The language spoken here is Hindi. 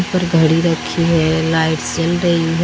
यहां पर घड़ी रखी है लाइट्स जल रही है।